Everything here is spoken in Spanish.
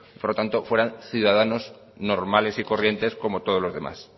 por lo tanto fueran ciudadanos normales y corrientes como todos los demás